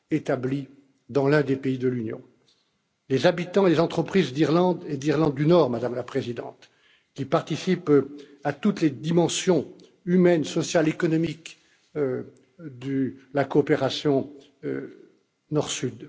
établis dans l'un des pays de l'Union les habitants et les entreprises d'Irlande et d'Irlande du Nord, Madame la Présidente, qui participent à toutes les dimensions humaine, sociale, économique de la coopération Nord